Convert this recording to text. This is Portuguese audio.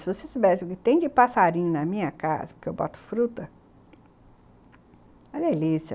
Se vocês tivessem o que tem de passarinho na minha casa, porque eu boto fruta, é delícia.